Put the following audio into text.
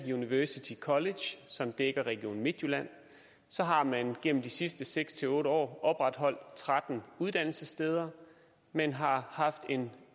via university college som dækker region midtjylland har man gennem de sidste seks otte år opretholdt tretten uddannelsessteder man har haft en